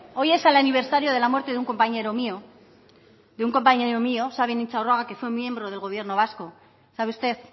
hoy es el aniversario de la muerte de un compañero mío de un compañero mío sabin intxaurraga que fue miembro del gobierno vasco sabe usted